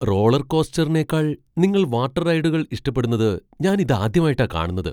റോളർകോസ്റ്ററിനേക്കാൾ നിങ്ങൾ വാട്ടർ റൈഡുകൾ ഇഷ്ടപ്പെടുന്നത് ഞാൻ ഇതാദ്യാമായിട്ടാ കാണുന്നത്.